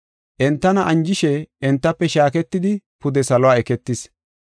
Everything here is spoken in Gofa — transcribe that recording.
Entana anjishe entafe shaaketidi pude salo eketis.